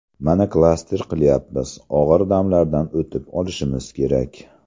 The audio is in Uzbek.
Mana klaster qilyapmiz, og‘ir damlardan o‘tib olishimiz kerak.